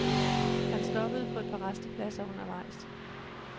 Han stoppede på et par rastepladser undervejs.